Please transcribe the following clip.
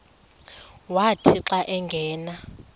wathi xa angena